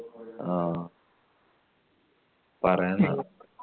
ആ പറയാന്ന